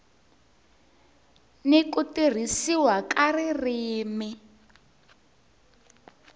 n ku tirhisiwa ka ririmi